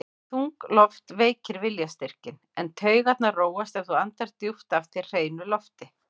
Þung loft veikir viljastyrkinn, en taugarnar róast ef þú andar djúpt að þér hreinu lofti.